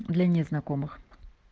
для незнакомых